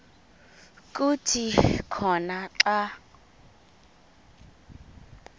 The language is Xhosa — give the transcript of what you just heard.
kuthi khona xa